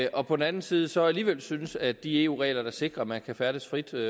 og på den anden side så alligevel synes at de eu regler der sikrer at man kan færdes frit